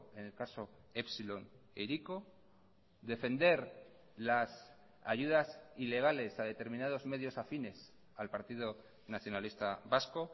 en el caso epsilon e hiriko defender las ayudas ilegales a determinados medios afines al partido nacionalista vasco